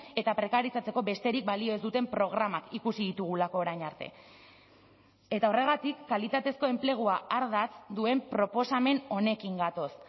eta prekarizatzeko besterik balio ez duten programak ikusi ditugulako orain arte eta horregatik kalitatezko enplegua ardatz duen proposamen honekin gatoz